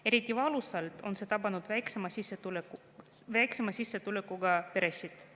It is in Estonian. Eriti valusalt on see tabanud väiksema sissetulekuga peresid.